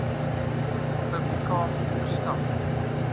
publikasie verskaf